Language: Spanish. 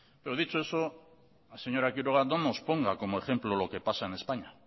dicho eso señora quiroga